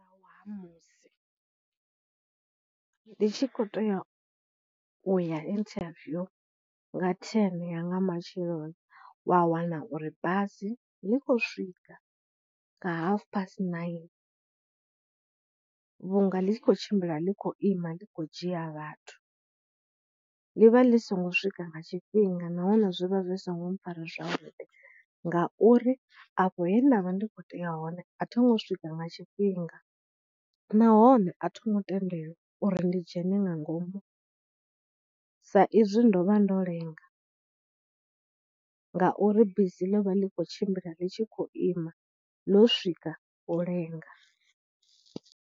Wa ha musi ndi tshi khou tea u ya interview nga ten ya nga matsheloni wa wana uri basi ḽi khou swika nga half past nine vhunga ḽi tshi khou tshimbila ḽi khou ima ḽi khou dzhia vhathu, ḽi vha ḽi songo swika nga tshifhinga nahone zwi vha zwi songo mpfhara zwavhuḓi ngauri afho he nda vha ndi kho tea hone, a tho ngo swika nga tshifhinga, nahone a tho ngo tendelwa uri ndi dzhene nga ngomu sa izwi ndo vha ndo lenga ngauri bisi ḽi vha ḽi khou tshimbila ḽi tshi khou ima ḽo swika u lenga.